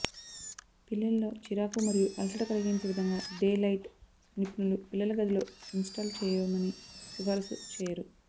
పిల్లలలో చిరాకు మరియు అలసట కలిగించే విధంగా డేలైట్ నిపుణులు పిల్లల గదిలో ఇన్స్టాల్ చేయమని సిఫారసు చేయరు